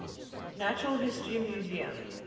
natural history museum